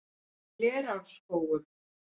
Glerárskógum